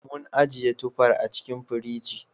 Mun ajiye tufar a cikin firinji.